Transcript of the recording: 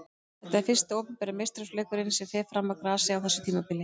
Þetta er fyrsti opinberi meistaraflokksleikurinn sem fer fram á grasi á þessu tímabili.